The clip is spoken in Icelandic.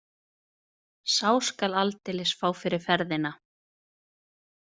Sá skal aldeilis fá fyrir ferðina